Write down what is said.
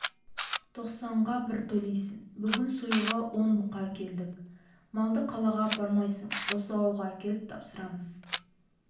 тоқсанға бір төлейсің бүгін союға он бұқа әкелдік малды қалаға апармайсың осы ауылға әкеліп тапсырамыз